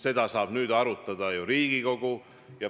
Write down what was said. Seda saab nüüd arutada ju Riigikogu.